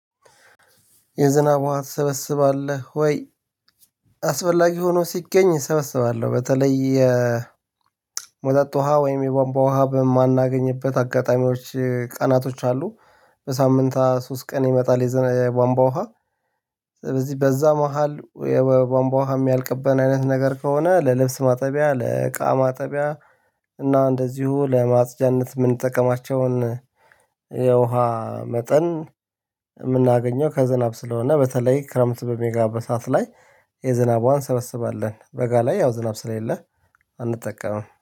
የዝናብ ውሃ ትሰበስባለህ ወይ? አስፈላጊ ሆኖ ሲገኝ እሰበስባለሁ በተለይ የመጠጥ ውሃ ወይም የቧንቧ ውሃ በማናገኝበት አጋጣሚዎች ቀናቶች አሉ በሳምንት ሶስት ቀን ይመጣል የዘነ የቧንቧ ውሃ በዚህ በዛ መሃል የቧንቧ የሚያልቅብን አይነት ነገር ከሆነ ለልብስ ማጠቢያ ለቃ ማጠቢያ እና እንደዚሁ ለማጽጃነት የምንጠቀማቸውን የውሃ መጠን የምናገኘው ከዝናብ ስለሆነ በተለይ ክረምት በሚገባበት ሰዓት ላይ የዝናብ ዉሃ እንሰበስባለን በጋ ላይ ያው ዝናብ ስለሌለ አንጠቀምም።